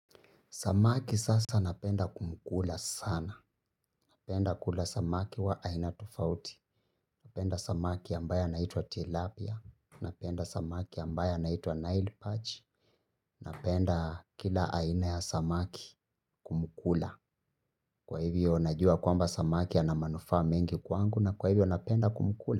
Samaki sasa napenda kumukula sana, napenda kula samaki wa aina tofauti, napenda samaki ambaye naitwa Tilapia, napenda samaki ambaye naitwa nail patch, napenda kila aina ya samaki kumukula, kwa hivyo najua kwamba samaki ana manufaa mengi kwangu na kwa hivyo napenda kumukula.